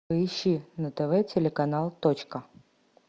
поищи на тв телеканал точка